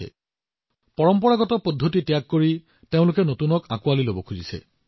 এতিয়া ই পৰম্পৰাগত বস্তুৰ ঊৰ্ধলৈ গৈ নতুন শাখা গ্ৰহণ কৰিছে